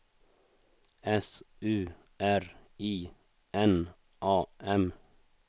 S U R I N A M